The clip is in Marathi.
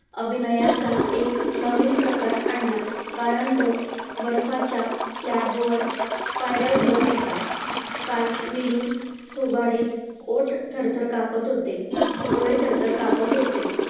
अभिनयाचा एक नवीन प्रकार आणला कारण तो बर्फाच्या slab वर पायऱ्या उतरत होता. cartwilling थोबाडीत ओठ थरथर कापत होते. डोळे थरथर कापत होते.